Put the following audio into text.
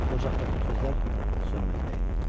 Ocaqdakı közlər sönməkdə idi.